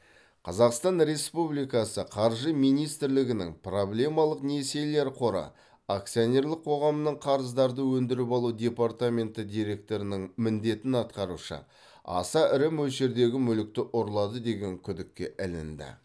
қазақстан республикасы қаржы министрлігінің проблемалық несиелер қоры акционерлік қоғамның қарыздарды өндіріп алу департаменті директорының міндетін атқарушы аса ірі мөлшердегі мүлікті ұрлады деген күдікке ілінді